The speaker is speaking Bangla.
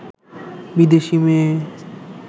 বিদেশী মেয়ে